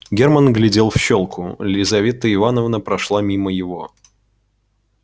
герман глядел в щёлку лизавета ивановна прошла мимо его